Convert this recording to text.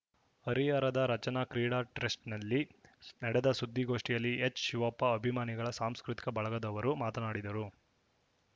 ಹರಿಹರದ ರಚನಾ ಕ್ರೀಡಾ ಟ್ರಸ್ಟ್‌ನಲ್ಲಿ ನಡೆದ ಸುದ್ದಿಗೋಷ್ಠಿಯಲ್ಲಿ ಎಚ್‌ಶಿವಪ್ಪ ಅಭಿಮಾನಿಗಳ ಸಾಂಸ್ಕೃತಿಕ ಬಳಗದವರು ಮಾತನಾಡಿದರು